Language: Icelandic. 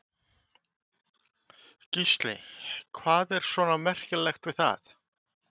Gísli: Hvað er svona merkilegt við það?